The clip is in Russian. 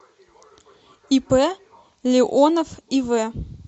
ип леонов ив